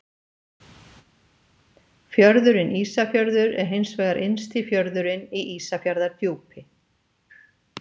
Fjörðurinn Ísafjörður er hins vegar innsti fjörðurinn í Ísafjarðardjúpi.